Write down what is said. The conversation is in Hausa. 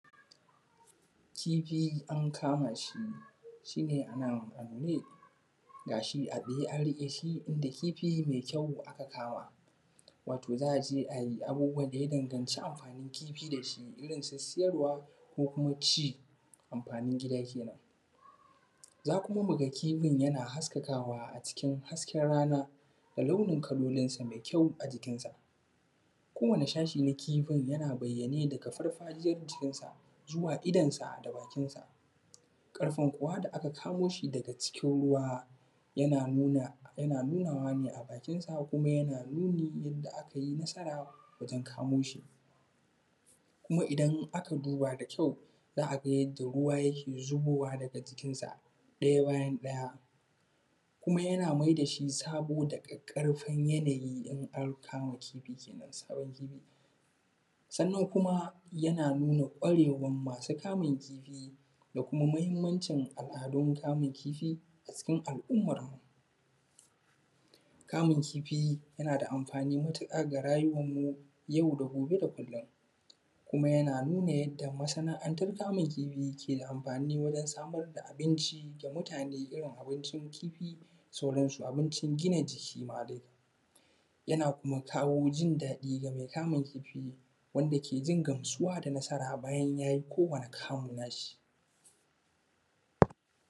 Kifi an kamaa shi, shi ne anan, ga shi a tsaye an riƙe shi da kifi mai kyau aka kama wato za aje a yi abubuwan da ya danganci amfaanin kifi da shi irinsu siyarwa ko kuma ci amfaanin gida kenan. Za kuma mu ga kifin yana haskakawa acikin hasken rana da launin kalolinsa mai kyau ajikinsa kowane shashi na kifin yana bayyane daga farfajiyar jikinsa zuwa idonsa da bakinsa ƙarfen kuwa da aka kamo shi daga cikin ruwa yana nuna yana nunaawa ne a bakinsa kuma yana nuni yanda akayi nasara wajen kamooshi. Kuma idan aka duba da kyau za ga yadda ruwa yake zubowa daga jikinsa ɗaya bayan ɗaya, kuma yana mai da shi sabo da ƙaƙƙarfan yanayi in an kama kifi kenan sabon kifi. sannan kuma yana nuna ƙwarewan maa su kamun kifi da kuma mahimmancin al’adun kamun kifi acikin al’ummanmu. Kamun kifi yana da amfaani matuƙa ga raayuwanmu yau da gobe da kullum kuma yana nuna yadda masana’antan kamun kifi ke da amfaani wajen samar da abinci ga mutaane irin abincin kifi da sauransu abincin gina jiki maa dai, yana kuma kawo jin daɗi ga mai kamun kifi wanda ke jin gamsuwa da nasara bayan yayi kowane kamu naa shi